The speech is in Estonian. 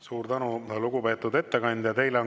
Suur tänu, lugupeetud ettekandja!